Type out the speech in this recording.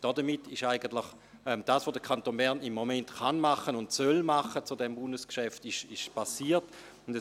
» Damit ist eigentlich erfolgt, was der Kanton Bern zu diesem Bundesgeschäft tun kann und soll.